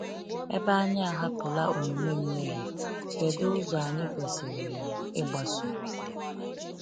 Ebe anyị ahapụla omume mmehie, kedu ụzọ anyị kwesịrị ịgbaso?